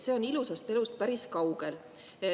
See on ilusast elust päris kaugel.